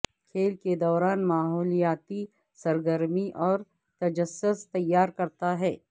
کھیل کے دوران ماحولیاتی سرگرمی اور تجسس تیار کرتا ہے